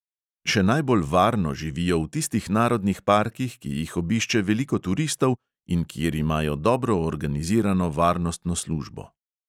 Še najbolj varno živijo v tistih narodnih parkih, ki jih obišče veliko turistov in kjer imajo dobro organizirano varnostno službo.